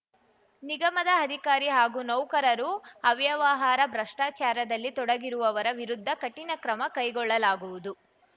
ನಿಗಮದ ಅಧಿಕಾರಿ ಹಾಗೂ ನೌಕರರು ಅವ್ಯವಹಾರ ಭ್ರಷ್ಟಾಚಾರದಲ್ಲಿ ತೊಡಗಿರುವವರ ವಿರುದ್ಧ ಕಠಿಣ ಕ್ರಮ ಕೈಗೊಳ್ಳಲಾಗುವುದು